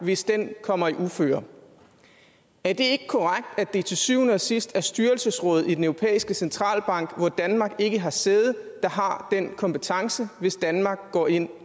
hvis den kommer i uføre er det ikke korrekt at det til syvende og sidst er styrelsesrådet i den europæiske centralbank hvor danmark ikke har sæde der har den kompetence hvis danmark går ind